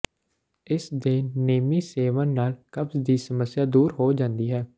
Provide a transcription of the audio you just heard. ਇਸ ਦੇ ਨੇਮੀ ਸੇਵਨ ਨਾਲ ਕਬਜ਼ ਦੀ ਸਮੱਸਿਆ ਦੂਰ ਹੋ ਜਾਂਦੀ ਹੈ